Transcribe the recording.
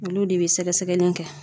Olu de be sɛgɛsɛgɛli kɛ